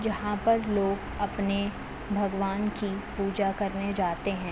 यहाँ पर लोग अपने भगवान की पूजा करने जाते हैं।